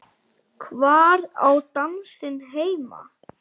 Hvar á dansinn heima?